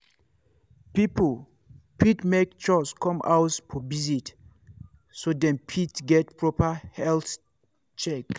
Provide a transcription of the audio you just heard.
people fit make chws come house for visit so dem fit get proper health check.